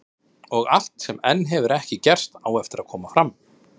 Og allt sem enn hefur ekki gerst, á eftir að koma fram.